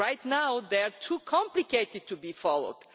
Right now they are too complicated to be followed!